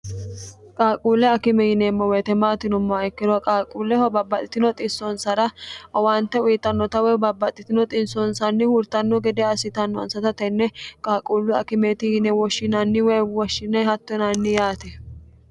qaaquulle akime yineemo woyite maati yinumoha ikkiro qaaquulleho babbaxxitino xissonsara owaante uyittannota woy babbaxxitino xissonsanni hurtanno gede assitanosata tenne qaaquullu akimeti yine woshshinanni woyi woshshine hatto yinanni yaate